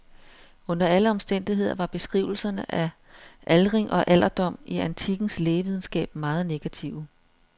Under alle omstændigheder var beskrivelserne af aldring og alderdom i antikkens lægevidenskab meget negative.